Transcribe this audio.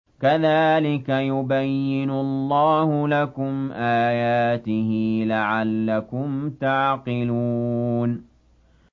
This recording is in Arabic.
كَذَٰلِكَ يُبَيِّنُ اللَّهُ لَكُمْ آيَاتِهِ لَعَلَّكُمْ تَعْقِلُونَ